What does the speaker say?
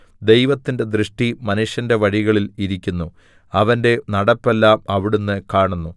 ദൈവത്തിന്റെ ദൃഷ്ടി മനുഷ്യന്റെ വഴികളിൽ ഇരിക്കുന്നു അവന്റെ നടപ്പെല്ലാം അവിടുന്ന് കാണുന്നു